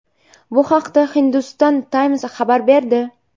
Bu haqda Hindustan Times xabar berdi .